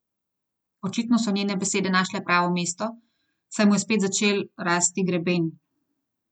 Očitno so njene besede našle pravo mesto, saj mu je spet začel rasti greben.